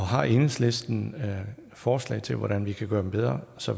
har enhedslisten forslag til hvordan vi kan gøre dem bedre så